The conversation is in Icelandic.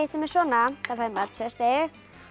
með svona fær maður tvö stig